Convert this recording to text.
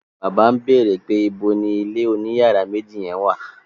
Bàbá ń bèrè pé níbo ni ilé oní yàrá méjì yen wà?